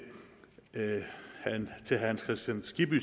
herre hans kristian skibby